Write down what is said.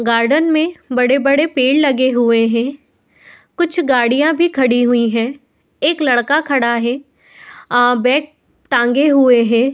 Garden में बड़े-बड़े पेड़ लगे हुए हैं। कुछ गाड़ियाँ भी खड़ी हुई है। एक लड़का खड़ा है। अ बैग टाँगे हुए है।